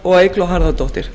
og eygló harðardóttir